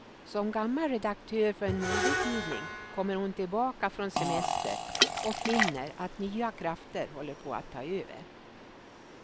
Som gammal redaktör för en modetidning kommer hon tillbaka från semester och finner att nya krafter håller på att ta över.